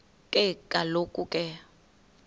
ke kaloku ke